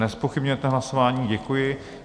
Nezpochybňujete hlasování, děkuji.